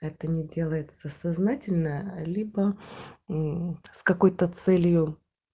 это не делается сознательно либо мм с какой-то целью